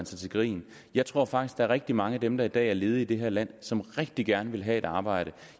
sig til grin jeg tror faktisk der er rigtig mange af dem der i dag er ledige i det her land som rigtig gerne vil have et arbejde